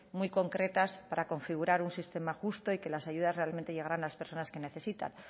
muy concretas para configurar un sistema justo y que las ayudas realmente llegaran a las personas que necesitan